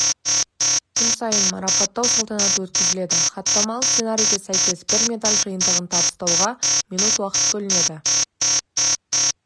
күн сайын марапаттау салтанаты өткізіледі хаттамалық сценарийге сәйкес бір медаль жиынтығын табыстауға минут уақыт бөлінеді